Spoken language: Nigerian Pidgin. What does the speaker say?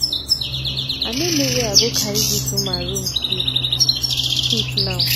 i no know where i go carry dis woman room key keep now